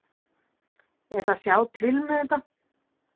Ég ætla að sjá til með það.